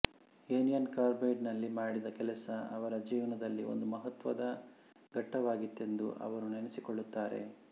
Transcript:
union Carbide ನಲ್ಲಿ ಮಾಡಿದ ಕೆಲಸ ಅವರ ಜೀವನದಲ್ಲಿ ಒಂದು ಮಹತ್ವದ ಘಟ್ಟವಾಗಿತ್ತೆಂದು ಅವರು ನೆನೆಸಿಕೊಳ್ಳುತ್ತಾರೆ